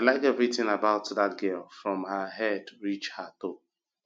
like everything about dat girl from her head reach her toe